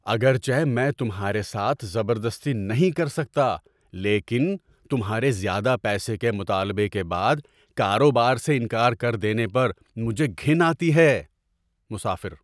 اگرچہ میں تمہارے ساتھ زبردستی نہیں کر سکتا، لیکن تمہارے زیادہ پیسے کے مطالبے کے بعد کاروبار سے انکار کر دینے پر مجھے گھن آتی ہے۔ (مسافر)